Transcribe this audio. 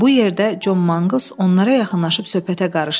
Bu yerdə Con Manqıls onlara yaxınlaşıb söhbətə qarışdı.